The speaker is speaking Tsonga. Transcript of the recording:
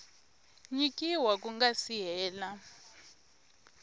nyikiwa ku nga si hela